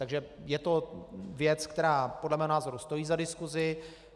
Takže je to věc, která podle mého názoru stojí za diskusi.